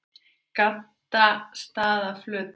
Gaddstaðaflötum